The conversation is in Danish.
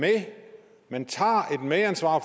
man tager et medansvar